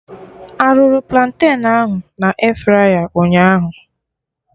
Arụrụ platen ahụ na airfryer ụnyaahụ?